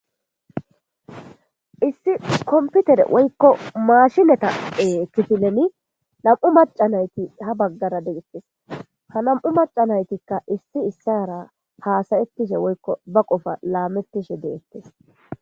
issi komputere woykko maashinata7e kifileni nam7u macanayti ha baggara degettes ha nam7u maca naytikka issi issara haasayettishe woykko ba qofa laamettishe deettes